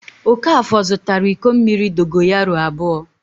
Okafọ zụtara iko mmiri dogoyaro abụọ.